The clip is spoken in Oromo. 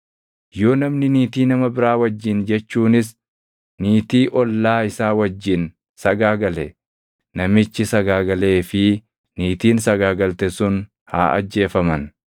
“ ‘Yoo namni niitii nama biraa wajjin jechuunis niitii ollaa isaa wajjin sagaagale namichi sagaagalee fi niitiin sagaagalte sun haa ajjeefaman.